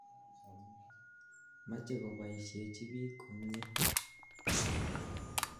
Mache kopoisyechi piik komnye.